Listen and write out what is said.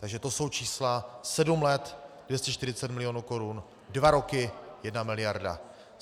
Takže to jsou čísla sedm let - 240 milionů korun, dva roky - 1 miliarda.